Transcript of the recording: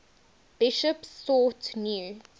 bishops sought new